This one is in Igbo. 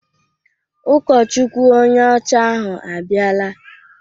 Ụkọchukwu onye ọcha ahụ abịala